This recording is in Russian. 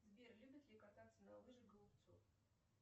сбер любит ли кататься на лыжах голубцов